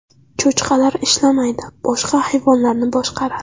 Cho‘chqalar ishlamaydi, boshqa hayvonlarni boshqaradi.